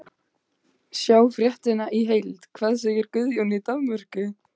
Sjá fréttina í heild: Hvað segir Guðjón í Danmörku?